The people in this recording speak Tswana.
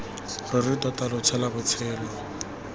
ruri tota lo tshela botshelo